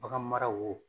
Bagan maraw